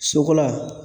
Sokola